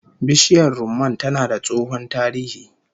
Bishiyar rumman tana da tsohon tarihi